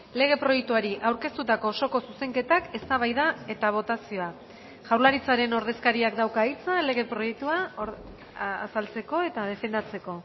lege proiektuari aurkeztutako osoko zuzenketak eztabaida eta botazioa jaurlaritzaren ordezkariak dauka hitza lege proiektua azaltzeko eta defendatzeko